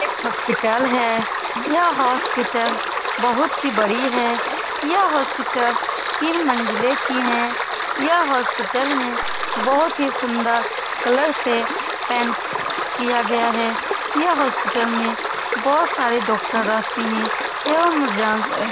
एक हॉस्पिटल है यह हॉस्पिटल बहोत ही बड़ी है यह हॉस्पिटल तीन मंजिले की है यह हॉस्पिटल में बहोत ही सुन्दर कलर से पेंट किया गया है यह हॉस्पिटल में बहोत सारे डॉक्टर रहते है यह --